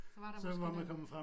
Så var der måske noget